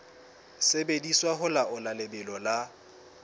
sebediswa ho laola lebelo la